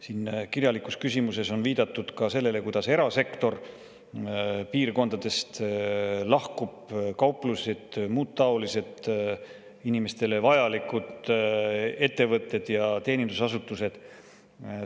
Siin kirjalikus küsimuses on viidatud ka sellele, et erasektor lahkub maapiirkondadest, kauplused, muud taolised inimestele vajalikud ettevõtted ja teenindusasutused.